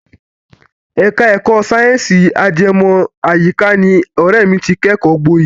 Ẹ̀ka ẹ̀kọ́ sáyẹ̀nsì ajẹmọ́ àyíká ni ọ̀rẹ́ mi ti kẹ́kọ̀ọ́ gboyè.